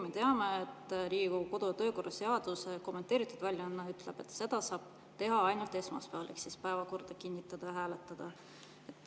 Me teame, et Riigikogu kodu- ja töökorra seaduse kommenteeritud väljaanne ütleb, et päevakorda saab kinnitada ja hääletada ainult esmaspäeval.